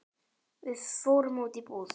Við fórum út í búð.